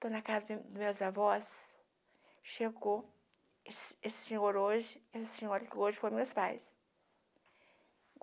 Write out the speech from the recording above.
Estou na casa do dos meus avós, chegou esse esse senhor hoje, esse senhor que hoje foram meus pais.